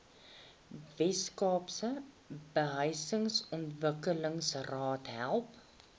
weskaapse behuisingsontwikkelingsraad help